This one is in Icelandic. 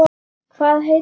Hvað heitir hann?